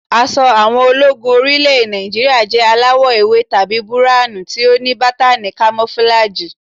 Aṣọ àwọn ológun orí ilẹ̀ Nàìjíríà jẹ́ aláwọ̀ ewé tàbí búráhùn tí ó ní bátàni kamofúlàgì